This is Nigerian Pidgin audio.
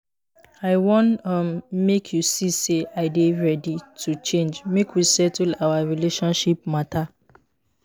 i wan um make you see sey i dey ready to change make we settle our relationship mata.